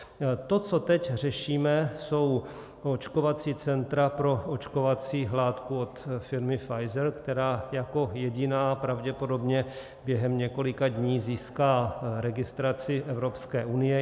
To, co teď řešíme, jsou očkovací centra pro očkovací látky od firmy Pfizer, která jako jediná pravděpodobně během několika dní získá registraci Evropské unie.